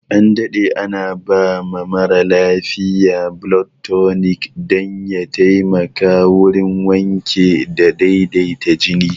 An daɗe ana ba marasa lafiya blood tunic dan ya taimaka wurin wanke da daidaita jini